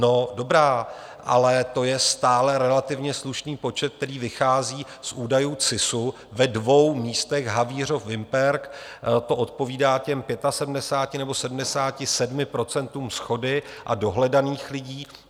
No dobrá, ale to je stále relativně slušný počet, který vychází z údajů CISu ve dvou místech, Havířov, Vimperk, to odpovídá těm 75 nebo 77 procentům shody a dohledaných lidí.